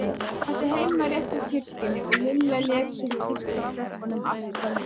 Hún átti heima rétt hjá kirkjunni og Lilla lék sér í kirkjutröppunum allt kvöldið.